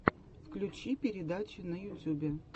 включи передачи на ютюбе